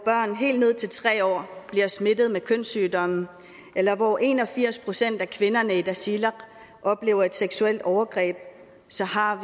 helt ned til tre år bliver smittet med kønssygdomme eller hvor en og firs procent af kvinderne i tasiilaq oplever et seksuelt overgreb så har